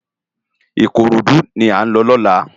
Ikorodu lá n lò lòlá